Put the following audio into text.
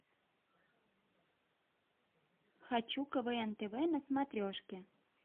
хочу квн тв на смотрешке